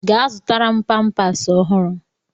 Gaa zụtara m pampas ọhụrụ!